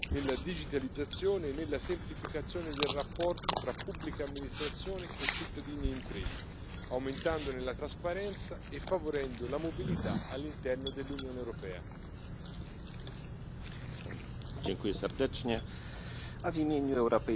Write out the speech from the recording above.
à la hauteur des attentes de nos concitoyens, qui subissent ces règlements fantaisistes, plus qu'ils n'en profitent. Les textes de cette nature paraissent parfaitement accessoires pour nos électeurs et risquent, par la complexité de leur mise en œuvre, d'être en plus inefficaces.